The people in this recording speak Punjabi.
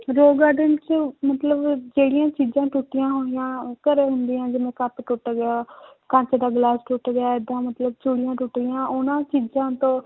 Rose garden 'ਚ ਮਤਲਬ ਜਿਹੜੀਆਂ ਚੀਜ਼ਾਂ ਟੁੱਟੀਆਂ ਹੋਈਆਂ ਘਰੇ ਹੁੰਦੀਆਂ ਜਿਵੇਂ ਕੱਪ ਟੁੱਟ ਗਿਆ ਕੱਚ ਦਾ ਗਲਾਸ ਟੁੱਟ ਗਿਆ ਏਦਾਂ ਮਤਲਬ ਚੂੜੀਆਂ ਟੁੱਟ ਗਈਆਂ ਉਹਨਾਂ ਚੀਜ਼ਾਂ ਤੋਂ